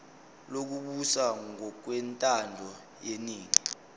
lokubusa ngokwentando yeningi